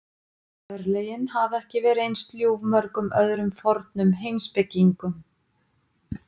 Örlögin hafa ekki verið eins ljúf mörgum öðrum fornum heimspekingum.